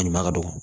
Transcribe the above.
A ɲuman ka don